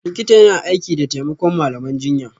Likita yana aiki da taimakon malaman jinya